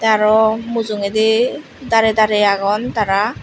araw mujugedi dare dare agon tara.